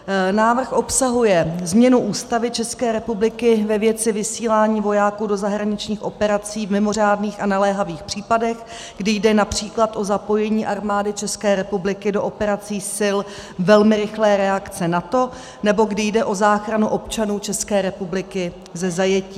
Návrh obsahuje změnu Ústavy České republiky ve věci vysílání vojáků do zahraničních operací v mimořádných a naléhavých případech, kdy jde například o zapojení Armády České republiky do operací Sil velmi rychlé reakce NATO nebo kdy jde o záchranu občanů České republiky ze zajetí.